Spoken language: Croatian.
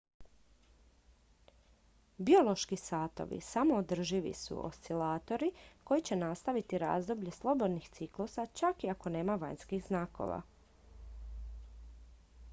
biološki satovi samoodrživi su oscilatori koji će nastaviti razdoblje slobodnih ciklusa čak i ako nema vanjskih znakova